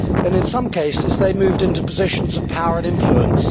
In some cases, they moved into positions of power and influence.